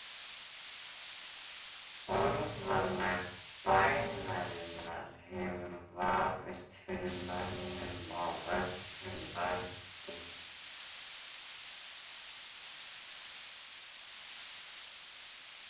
Orðalag bænarinnar hefur vafist fyrir mönnum á öllum öldum.